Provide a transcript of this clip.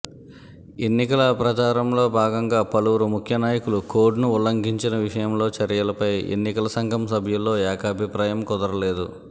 ఎన్నికల ప్రచారంలో భాగంగా పలువురు ముఖ్య నాయకులు కోడ్ను ఉల్లంఘించిన విషయంలో చర్యలపై ఎన్నికల సంఘం సభ్యుల్లో ఏకాభిప్రాయం కుదరలేదు